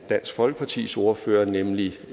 dansk folkepartis ordfører nemlig